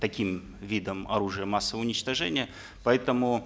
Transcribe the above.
таким видом оружия массового уничтожения поэтому